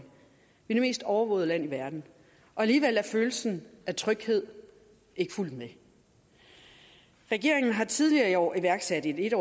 vi er det mest overvågede land i verden og alligevel er følelsen af tryghed ikke fulgt med regeringen har tidligere i år iværksat et